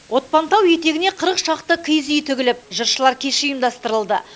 отпантау етегіне қырық шақты киіз үй тігіліп жыршылар кеші ұйымдастырылды